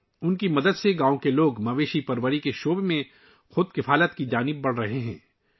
ان کی مدد سے گاؤں کے لوگ جانور پالنے کے شعبے میں آتم نربھرتا کی طرف بڑھ رہے ہیں